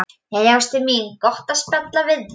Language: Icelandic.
Jæja, ástin mín, gott að spjalla við þig.